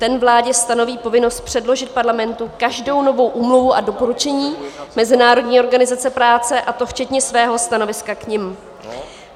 Ten vládě stanoví povinnost předložit Parlamentu každou novou úmluvu a doporučení Mezinárodní organizace práce, a to včetně svého stanoviska k nim.